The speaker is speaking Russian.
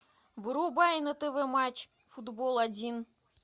врубай на тв матч футбол один